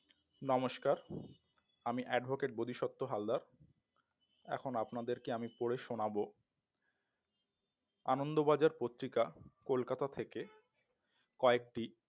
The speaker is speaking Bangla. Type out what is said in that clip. নমস্কার আমি advocate বোদিসপ্ত হালদার এখন আপনাদেরকে পড়ে শোনাবো আনন্দবাজার পত্রিকা কলকাতা থেকে কয়েকটি